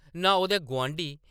नां ओह्‌‌‌दे गुआंढी ।